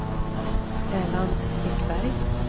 Erland Ekberg